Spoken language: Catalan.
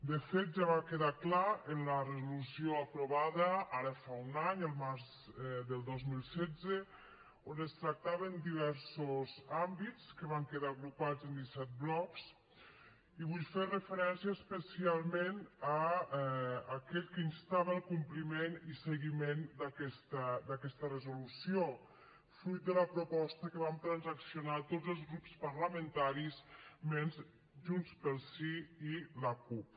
de fet ja va quedar clar en la resolució aprovada ara fa un any el març del dos mil setze on es tractaven diversos àmbits que van quedar agrupats en disset blocs i vull fer referència especialment a aquest que instava el compliment i seguiment d’aquesta resolució fruit de la proposta que vam transaccionar tots els grups parlamentaris menys junts pel sí i la cup